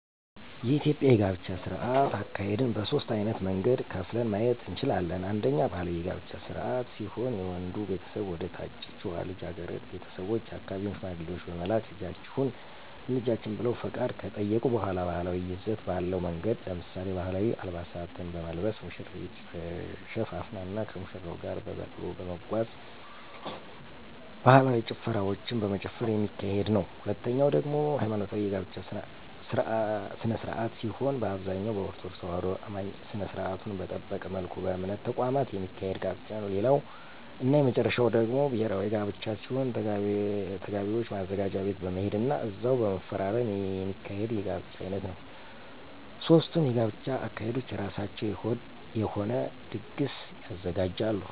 የኢትዮጵያ የጋብቻ ስነ-ስርዓት አካሄድን በሦስት ዓይነት መንገድ ከፍለን ማየት እንችላለን። አንደኛ ባህላዊ የጋብቻ ስነ-ስርዓት ሲሆን የወንዱ ቤተሰቦች ወደ ታጨችዋ ልጃገረድ ቤተሰቦች የአካባቢውን ሽማግሌዎች በመላክ ልጃችሁን ለልጃችን ብለው ፈቃድ ከጠየቁ በሗላ ባህላዊ ይዘት ባለው መንገድ ለምሳሌ፦ ባህላዊ አልባሳትን በመልበስ፣ ሙሽሪት ተሸፋፍና ከሙሽራው ጋር በበቅሎ በመጓጓዝ፣ ባህላዊ ጭፈራዎችን በመጨፈር የሚካሄድ ነዉ። ሁለተኛው ደግሞ ሀይማኖታዊ የጋብቻ ስነ-ስርዓት ሲሆን በአብዛኛው በኦርቶዶክስ ተዋህዶ አማኞች ስነ-ስርዓቱን በጠበቀ መልኩ በእምነት ተቋማት የሚካሄድ ጋብቻ ነዉ። ሌላው እና የመጨረሻው ደግሞ ብሔራዊ ጋብቻ ሲሆን ተጋቢዎች ማዘጋጃ ቤት በመሄድ ና እዛው በመፈራረም የሚካሄድ የጋብቻ ዓይነት ነዉ። ሦስቱም የጋብቻ አካሄዶች የራሳቸው የሆነ ድግስ ያዘጋጃሉ።